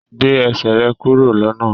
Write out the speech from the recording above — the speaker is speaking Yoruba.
gbé Ẹsẹ̀ rẹ kúrò lọnà!